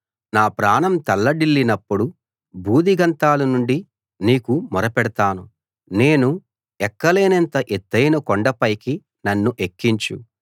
నా ప్రాణం తల్లడిల్లినప్పుడు భూదిగంతాల నుండి నీకు మొరపెడతాను నేను ఎక్కలేనంత ఎత్తయిన కొండ పైకి నన్ను ఎక్కించు